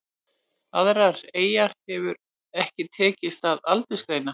Aðrar eyjar hefur ekki tekist að aldursgreina.